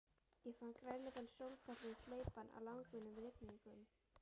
Ég fann grænleitan sólpallinn sleipan af langvinnum rigningum.